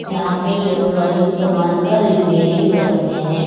यहां पे इलेक्ट्रॉनिक समान का रिपेयरिंग करते हैं।